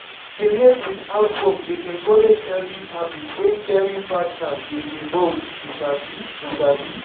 to dey help with housework dey encourage healthy habits when caring partners dey involved you sabi. you sabi.